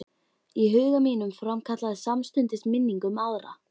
Í huga mínum framkallaðist samstundis minning um aðra